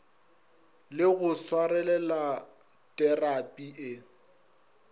le go swarelela terapi e